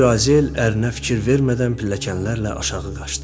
Xanım Lüazel ərinə fikir vermədən pilləkənlərlə aşağı qaçdı.